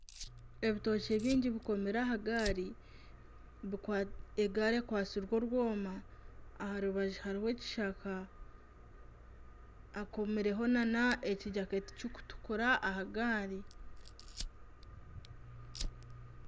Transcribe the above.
Ebitookye bingi bikomire aha gaari. Egaari ekwatsirwe orwoma, aha rubaju hariho ekishaka. Hakomireho nana ekijaketi kikutukura aha gaari.